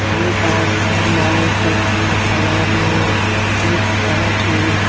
एक आदमी लाल शर्ट में खड़ा है एक सड़क है।